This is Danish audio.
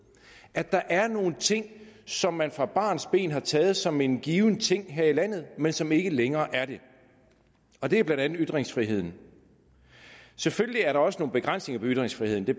at der er nogle ting som man fra barnsben har taget som en given ting her i landet men som ikke længere er det og det er blandt andet ytringsfriheden selvfølgelig er der også begrænsninger for ytringsfriheden det